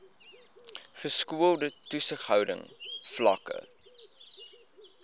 geskoolde toesighouding vlakke